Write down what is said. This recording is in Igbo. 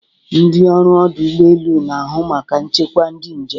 Ndị ọrụ ọdụ ụgbọ elu na-ahụ maka nchekwa ndị njem.